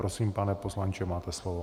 Prosím, pane poslanče, máte slovo.